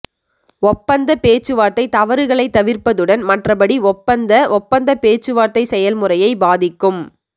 ஒப்பந்த பேச்சுவார்த்தை தவறுகளைத் தவிர்ப்பதுடன் மற்றபடி ஒப்பந்த ஒப்பந்த பேச்சுவார்த்தை செயல்முறையை பாதிக்கும்